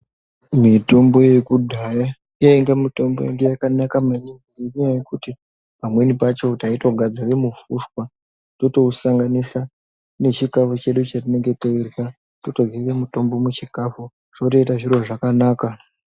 Mitombo yekudhaya yainge mitombo yainge yakanaka maningi ngendaa yekuti pamweni pacho taitogadzira mufushwa, totousanganisa nechikafu chedu chetinenge teirya, totoryira mutombo muchikafu zvotoita zvakanaka.